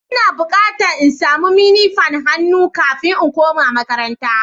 Ina bukatan in samo mini fanin hannu kafin in koma makaranta.